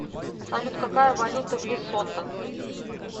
салют какая валюта в лесото